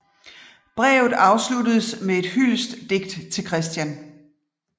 Brevet afsluttedes med et hyldestdigt til Christian